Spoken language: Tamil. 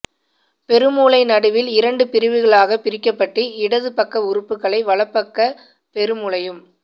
பெருமூளை நடுவில் இரண்டு பிரிவுகளாகப் பிரிக்கப்பட்டு இடது பக்க உறுப்புகளை வலப்பக்க பெருமூளையும்